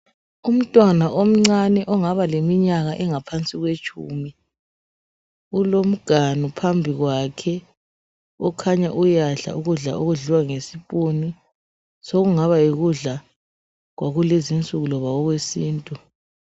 Umntwana omncane ongaba leminyaka engaphansi kwetshumi kulomganu phambi kwakhe okhanya uyadla ukudla okudliwa ngokhezo sokungaba yikudla kwakulezi nsuku loba kwesintu.